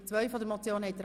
Abstimmung (Ziff. 2)